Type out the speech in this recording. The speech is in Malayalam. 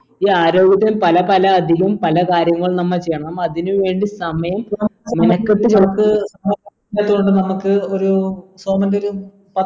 ഈ ആരോഗ്യത്തിന് പല പല അധികം പല കാര്യങ്ങൾ നമ്മൾ ചെയ്യണം നമ്മ അതിനു വേണ്ടി സമയം നമ്മക്ക് ഒരു സോമന്റെ ഒരു